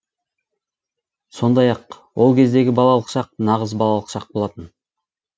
сондай ақ ол кездегі балалық шақ нағыз балалық шақ болатын